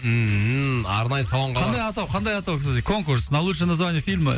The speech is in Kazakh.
ммм арнайы салонға қандай атау қандай атау кстати конкурс на лучшие название фильма